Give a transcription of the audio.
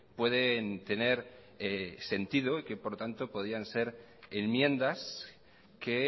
pueden tener sentido y que por lo tanto podían ser enmiendas que